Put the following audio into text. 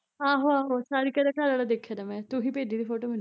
ਆਹੋ ਆਹੋ ਸਾਰਿਕਾ ਦਾ ਘਰਆਲਾ ਦੇਖਿਆ ਤਾ ਮੈਂ ਤੂੰ ਹੀਂ ਭੇਜੀ ਤੀ ਫ਼ੋਟੋ ਮੈਨੂੰ